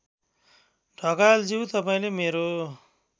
ढकालज्यू तपाईँले मेरो